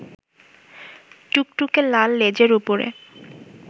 টুকটুকে লাল লেজের উপরে